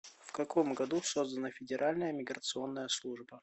в каком году создана федеральная миграционная служба